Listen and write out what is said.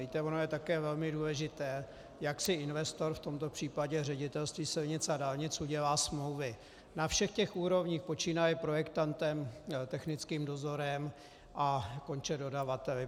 Víte, ono je také velmi důležité, jak si investor, v tomto případě Ředitelství silnic a dálnic, udělá smlouvy na všech těch úrovních, počínaje projektantem, technickým dozorem a konče dodavateli.